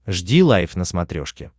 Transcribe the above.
жди лайв на смотрешке